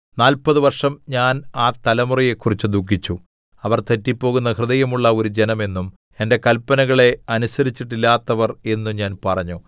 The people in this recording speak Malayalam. നാല്പത് വർഷം ഞാൻ ആ തലമുറയെക്കുറിച്ച് ദുഖിച്ചു അവർ തെറ്റിപ്പോകുന്ന ഹൃദയമുള്ള ഒരു ജനം എന്നും എന്റെ കല്‍പ്പനകളെ അനുസരിച്ചിട്ടില്ലാത്തവര്‍ എന്നും ഞാൻ പറഞ്ഞു